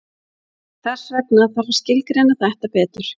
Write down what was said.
Þess vegna þarf að skilgreina þetta betur.